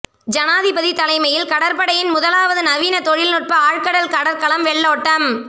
ஜனாதிபதி தலைமையில் கடற்படையின் முதலாவது நவீன தொழில்நுட்ப ஆழ்கடல் கடற்கலம் வெள்ளோட்டம்